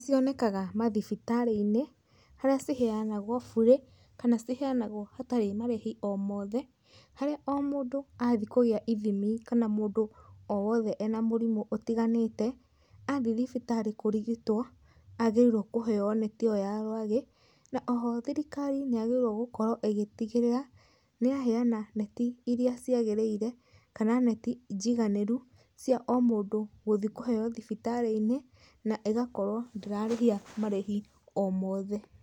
Nĩ cionekaga mathibitari-inĩ, harĩa ciheanagwo burĩ, kana ciheanagwo hatarĩ marĩhi o mothe, harĩa o mũndũ athĩĩ kũgĩa ithĩmi, kana mũndũ o wothe ena mũrimũ ũtĩganĩte athiĩ thibitarĩ kũrĩgĩtwo agĩrĩirwo kũheo neti ĩyo ya rwagĩ. Na oho thirikari nĩ yagĩrĩirwo gũkorwo ĩgĩtigĩrĩra nĩ yaheana neti irĩa ciagĩrĩire, kana neti njĩganĩru cia o mũndũ gũthĩĩ kũheo thibitarĩ-inĩ, na ĩgakorwo ndĩrarĩhia marĩhi o mothe.